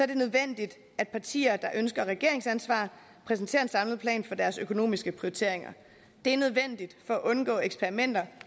det nødvendigt at partier der ønsker regeringsansvar præsenterer en samlet plan for deres økonomiske prioriteringer det er nødvendigt for at undgå eksperimenter